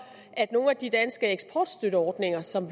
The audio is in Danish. at nogle af de danske eksportstøtteordninger som